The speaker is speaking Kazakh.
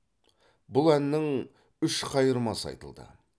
бұл әннің үш қайырмасы айтылды